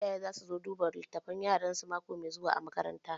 Iyaye za su zo duba littafan yaransu mako mai zuwa a makaranta